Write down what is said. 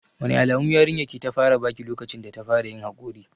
Wane alamu yarinyar ki ta fara baki lokacin data fara yin haƙori?